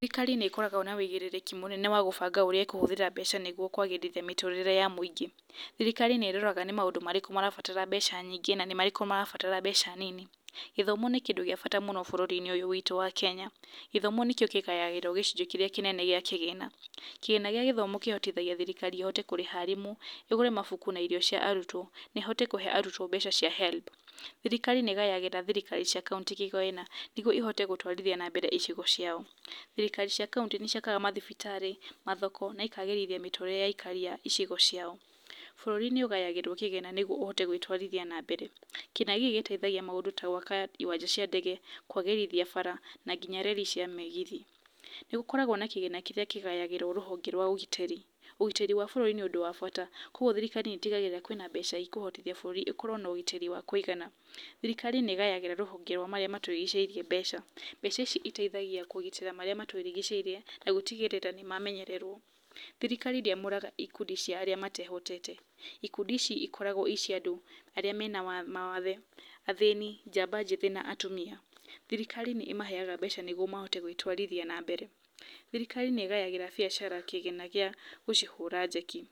Thirikari nĩ koragwo na wigĩrĩrĩki mũnene wa gũbanga ũrĩa ĩkũhũthĩra mbeca nĩgwo kwagĩrithia mĩtũrĩre ya mũingĩ. Thirikari nĩ roraga nĩ maũndũ marĩkũ marabatara mbeca nyingĩ na nĩ marĩkũ marabatara mbeca nini. Gĩthomo nĩ kĩndũ gĩa bata mũno bũrũrinĩ ũyũ witũ wa Kenya. Githomo nĩkĩo kĩgayagĩrwo gĩcunjĩ kĩrĩa kĩnene gĩa kĩgĩna. Kĩgĩna gĩa gĩthomo kĩhotithagia thirikari ĩhote kũrĩha arimũ, ĩgũre mabuku na irio cia arutwo, na ĩhote kũhe arutwo mbeca cia HELB. Thirikari nĩyagagĩra thirikari cia kauntĩ kĩgĩna, nĩgwo ihote gũtwarithia nambere icigo ciao. Thirikari cia kauntĩ nĩciakaga mathibitarĩ, mathoko, na ikagĩrithia mĩtũrĩre ya aikari a icigo ciao. Bũrũri nĩ ũgayagĩrwo kĩgĩna nĩguo ũhote gwĩtwarithia na mbere. Kĩgĩna gĩkĩ gĩteithagia maũndũ ta gwaka iwanja cia ndege, kwagĩrithia bara, na nginya reri cia mĩgithi. Nĩ gũkoragwo na kĩgĩna kĩrĩa kĩgayagĩrwo rũhonge rwa ũgitĩri. Ũgitĩri wa bũrũri nĩ ũndũ wa bata, kwogwo thirikari nĩtigagĩrĩra kwĩna mbeca cia ikũhotithia bũrũri ĩkorwo na ũgitĩri wa kũigana. Thirikari nĩ gayagĩra rũhonge rwa marĩa matũrigicĩirie mbeca. Mbeca ici iteithagia kũgitĩra marĩa matũrigicĩirie na gũtigĩrĩra nĩmamenyererwo. Thirikari ndĩamũraga ikundi cia arĩa matehotete. Ikundi ici ikoragwo ii cia andũ arĩa mena wath, mawathe, njamba njĩthĩ na atumia. Thirikari nĩ ĩmaheaga mbeca nĩgwo mahote gwĩtwarithia nambere. Thirikari nĩgayagĩra biacara kĩgĩna gĩa gũcihũra njeki.